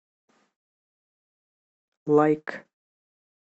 лайк